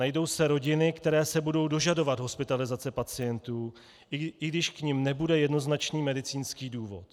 Najdou se rodiny, které se budou dožadovat hospitalizace pacientů, i když k nim nebude jednoznačný medicínský důvod.